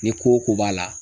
Ni ko o ko b'a la